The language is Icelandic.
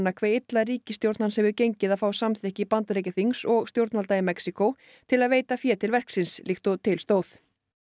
hve illa ríkisstjórn hans hefur gengið að fá samþykki Bandaríkjaþings og stjórnvalda í Mexíkó til að veita fé til verksins líkt og til stóð